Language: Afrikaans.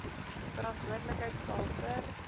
verantwoordelikheid sal vir